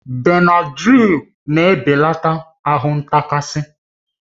Benadrịl na-ebelata ahụ ntakasi